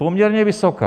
Poměrně vysoká.